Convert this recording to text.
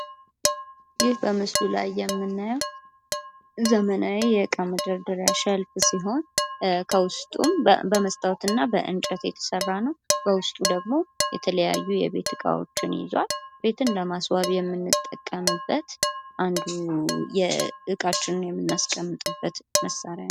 ይህ በምስሉ ላይ የምናየው ዘመናዊ የእቃ መደርደሪያ ሸልፍ ሲሆን በውስጡም በመስታወት እና በእንጨት የተሰራ ነው። በውስጡ ደግሞ የተለያዩ የቤት እቃዎችን ይዟል። ቤትን ለማስዋብ የምንጠቀምበት አንዱ እቃችንን የምናስቀምጥበት መሳሪያ ነው።